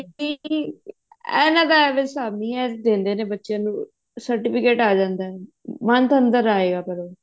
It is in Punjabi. ਇਹਨਾ ਦਾ ਹਿਸਾਬ ਨੀ ਹੈ ਦੇਂਦੇ ਨੇ ਬੱਚਿਆਂ ਨੂੰ certificate ਆ ਜਾਂਦਾ month ਅੰਦਰ ਆਇਗਾ ਪਰ ਉਹ